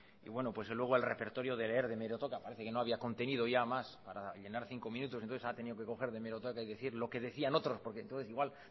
y pues luego el repertorio de leer de hemeroteca parece que no había contenido ya más para llenar cinco minutos entonces ha tenido que coger de hemeroteca y decir lo que decían otros porque entonces igual